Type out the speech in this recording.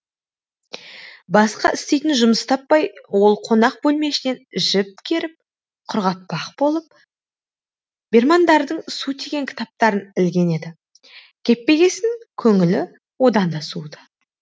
басқа істейтін жұмыс таппай ол қонақ бөлме ішінен жіп керіп құрғатпақ болып бермандардың су тиген кітаптарын ілген еді кеппегесін көңілі одан да суыды